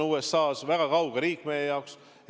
USA on väga kauge riik meie jaoks.